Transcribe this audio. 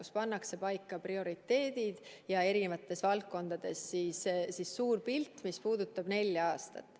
Seal pannakse paika prioriteedid ja eri valdkondades suur pilt, mis puudutab nelja aastat.